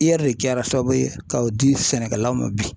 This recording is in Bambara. IER de kɛra sababu ye k'o di sɛnɛkɛlaw ma bi.